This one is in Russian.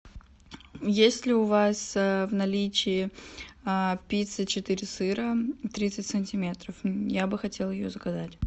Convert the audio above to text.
есть ли у вас в наличии пицца четыре сыра тридцать сантиметров я бы хотела ее заказать